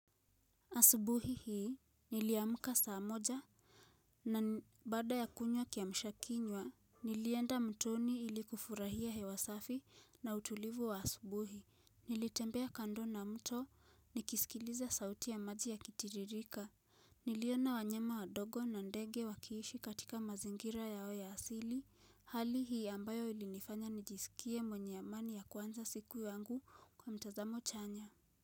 Asubuhi hii niliamka saa moja na baada ya kunywa kiamsha kinywa nilienda mtoni ili kufurahia hewa safi na utulivu wa asubuhi nilitembea kando na mto nikisikiliza sauti ya maji yakitiririka Niliona wanyama wadogo na ndege wakiishi katika mazingira yao ya asili hali hii ambayo ilinifanya nijisikie mwenye amani ya kuanza siku yangu kwa mtazamo chanya.